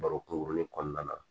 Baro kunkurunin kɔnɔna na